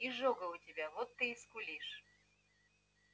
изжога у тебя вот ты и скулишь